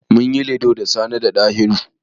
Min yi Ludo da Sani da Ɗahiru.